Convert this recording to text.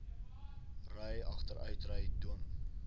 ry agteruitry dwing